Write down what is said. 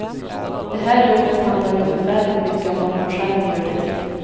Det här jobbet handlar ju förfärligt mycket om vad man själv gör det till.